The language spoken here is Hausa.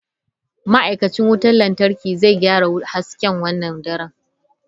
Ma'aikacin wutar lantarki zai gyara hasken wannan dare.